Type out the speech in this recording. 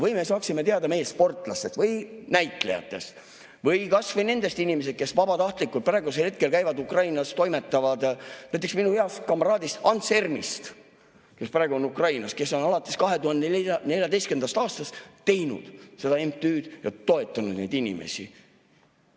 Või me saaksime teada meie sportlastest või näitlejatest või nendest inimestest, kes praegu vabatahtlikult käivad Ukrainas ja toimetavad seal, näiteks minu heast kamraadist Ants Ermist, kes praegu on Ukrainas ja kes on alates 2014. aastast teinud seda MTÜ‑d ja toetanud neid inimesi.